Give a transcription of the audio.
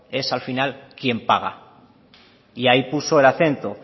es al final quién paga y ahí puso el acento